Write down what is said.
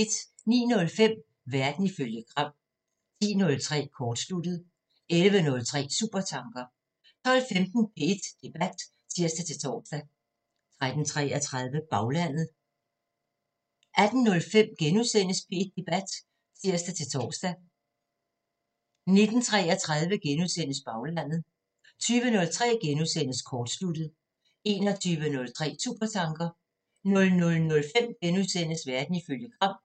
09:05: Verden ifølge Gram 10:03: Kortsluttet 11:03: Supertanker 12:15: P1 Debat (tir-tor) 13:33: Baglandet 18:05: P1 Debat *(tir-tor) 19:33: Baglandet * 20:03: Kortsluttet * 21:03: Supertanker 00:05: Verden ifølge Gram *